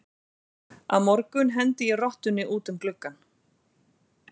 Á morgun hendi ég rottunni út um gluggann.